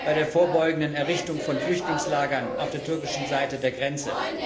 bei der vorbeugenden Errichtung von Flüchtlingslagern auf der türkischen Seite der Grenze.